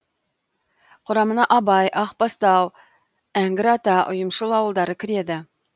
құрамына абай ақбастау әңгірата ұйымшыл ауылдары кіреді